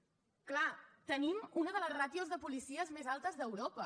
és clar tenim una de les ràtios de policies més altes d’europa